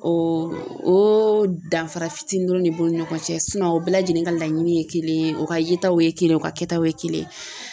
O o danfara fitininw de b'u ni ɲɔgɔn cɛ o bɛɛ lajɛlen ka laɲini ye kelen ye o ka yetaw ye kelen o ka kɛtaw ye kelen.